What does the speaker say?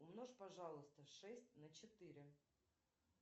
умножь пожалуйста шесть на четыре